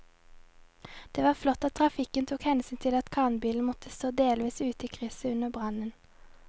Det var flott at trafikken tok hensyn til at kranbilen måtte stå delvis ute i krysset under brannen.